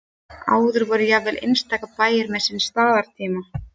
áður voru jafnvel einstaka bæir með sinn staðartíma